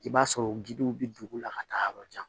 I b'a sɔrɔ gidonw bɛ dugu la ka taa yɔrɔ jan